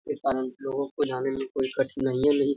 ए कारण लोगो को जाने में कोई कठिनाइयाँ नही --